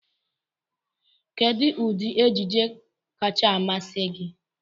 Kedụ ụdị ejije kacha amasị gị?